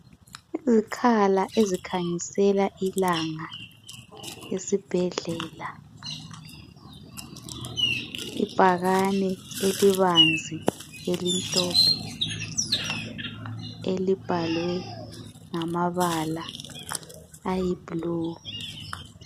Izikhala ezikhanyisela ilanga esibhedlela, ibhakane elibanzi elimhlophe elibhalwe ngamabala aluhlaza.